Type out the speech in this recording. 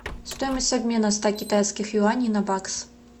стоимость обмена ста китайских юаней на бакс